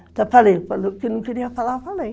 Eu falei o que eu não queria falar, eu falei.